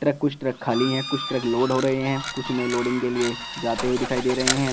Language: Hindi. कुछ ट्रक खाली हैं कुछ ट्रक लोड हो रहे हैं कुछ में लोडिंग के लिए जाते हुए दिखाई दे रहे हैं।